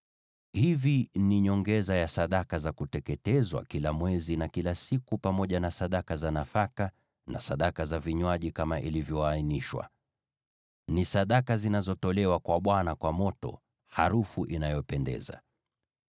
Hivi ni nyongeza ya sadaka za kuteketezwa kila mwezi na kila siku pamoja na sadaka zake za nafaka na sadaka za vinywaji kama ilivyoainishwa. Ni sadaka zinazotolewa kwa Bwana kwa moto, harufu inayopendeza.